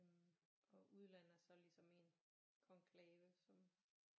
Og udlandet er så ligesom en konklave som